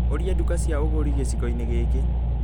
Ũria nduka cia ugũri gĩcigo-inĩ gĩkĩ